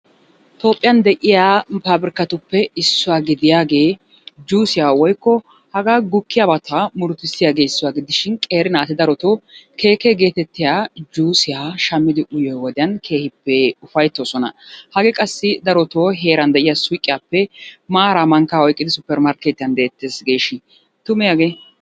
Toophphiyan de'iya nu paapirkkatuppe issuwa gidiyagee juusiya woykko hagaa gukkiyabata murutissiyagee issuwa gidishin qeeri naati darotoo Keekkee geetettiya juusiya shammidi uyiyo wodiyan keehippe ufayttoosona. Hagee qassi darotoo heeran de'iya suuqiyappe maaraa mankkaa oyqqidi oyqqidi suppermarkkeetiyan beettees geeshin tumee hagee?